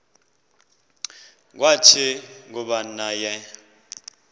kwathi kuba naye